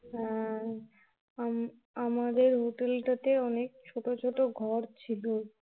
হ্যাঁ আমা আমাদের Hotel টাতে অনেক ছোট ছোট ঘর ছিলো